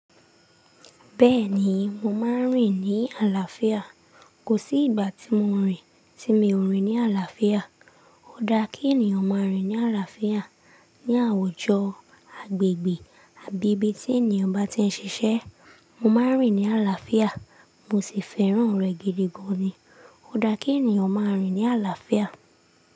Bẹ́ẹ̀ni, mo máa ń rìn ní àlàáfíà. Kò sí ìgbà tí mo rìn tí mi ò rìn ní àlàáfíà. Ó dá kí ènìyàn máa rìn ní àlàáfíà ní àwùjọ, agbègbè àbí ibi tí ènìyàn bá ti ń ṣiṣẹ́. Mo máa ń rìn ní àlàáfíà, mo sì fẹ́ràn rẹ̀ gidi gan-an ni. Ó dá kí ènìyàn máa rìn ní àlàáfíà.